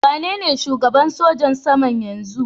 Waye ne shugaban sojin sama yanzun?